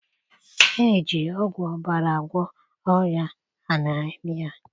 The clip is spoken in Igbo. Eji ọgwụ ọbara agwọ ọrịa anaemia